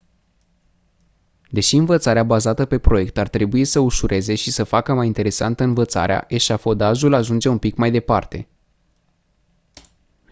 deși învățarea bazată pe proiect ar trebui să ușureze și să facă mai interesantă învățarea eșafodajul ajunge un pic mai departe